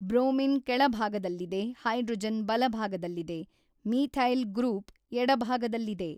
Bromine ಕೆಳಭಾಗದಲ್ಲಿದೆ hydrogen ಬಲಭಾಗದಲ್ಲಿದೆ methyl group ಎಡಭಾಗದಲ್ಲಿದೆ.